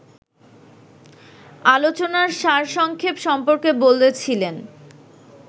আলোচনার সারসংক্ষেপ সম্পর্কে বলছিলেন